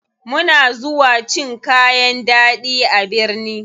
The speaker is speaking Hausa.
Muna zuwa cin kayan ɗaɗi a birni.